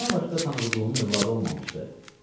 Bundan başqa Tanrıqulunun övladı olmamışdı.